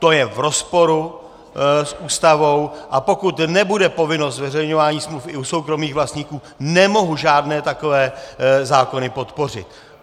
To je v rozporu s Ústavou, a pokud nebude povinnost zveřejňování smluv i u soukromých vlastníků, nemohu žádné takové zákony podpořit.